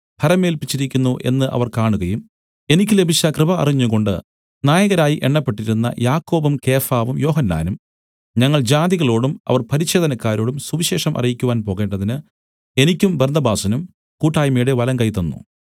ഭരമേല്പിച്ചിരിക്കുന്നു എന്ന് അവർ കാണുകയും എനിക്ക് ലഭിച്ച കൃപ അറിഞ്ഞുംകൊണ്ട് നായകരായി എണ്ണപ്പെട്ടിരുന്ന യാക്കോബും കേഫാവും യോഹന്നാനും ഞങ്ങൾ ജാതികളോടും അവർ പരിച്ഛേദനക്കാരോടും സുവിശേഷം അറിയിക്കുവാൻ പോകേണ്ടതിന് എനിക്കും ബർന്നബാസിനും കൂട്ടായ്മയുടെ വലങ്കൈ തന്നു